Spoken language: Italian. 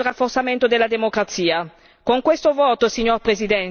L'Assemblea accompagna i paesi anche nel rafforzamento della democrazia.